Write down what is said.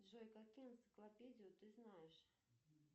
джой какую энциклопедию ты знаешь